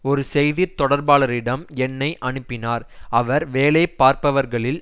ஒரு செய்தி தொடர்பாளரிடம் என்னை அனுப்பினார் அவர் வேலைபார்ப்பவர்களில்